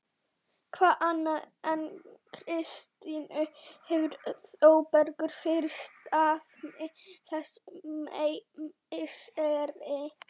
Hvað annað en Kristínu hefur Þórbergur fyrir stafni þessi misseri?